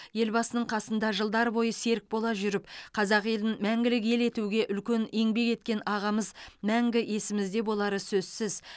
елбасының қасында жылдар бойы серік бола жүріп қазақ елін мәңгілік ел етуге үлкен еңбек еткен ағамыз мәңгі есімізде болары сөзсіз